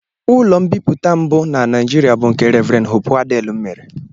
Ụlọ mbipụta mbụ na Naịjiria bụ nke Rev Hope Waddel mere